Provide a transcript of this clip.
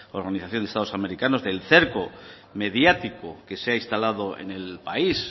organización de estados americanos del cerco mediático que se ha instalado en el país